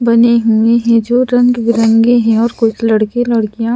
बने हुए हैं जो रंग बिरंगे हैं और कुछ लड़के लड़कियां--